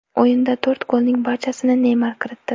O‘yinda to‘rt golning barchasini Neymar kiritdi.